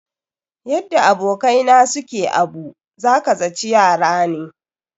Yadda abokai na su ke abu, za ka zaci yara ne.